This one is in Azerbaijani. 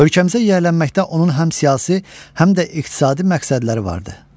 Ölkəmizə yiyələnməkdə onun həm siyasi, həm də iqtisadi məqsədləri vardı.